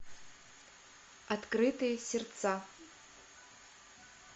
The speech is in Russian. открытые сердца